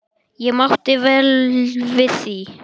Ég mátti vel við því.